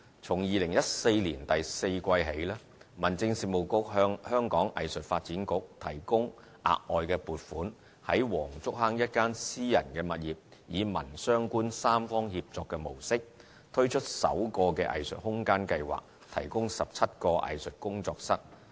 從2014年第四季起，民政事務局向香港藝術發展局提供額外撥款，於黃竹坑一私人物業以民、商、官三方協作的模式，推出首個藝術空間計劃，提供17個藝術工作室。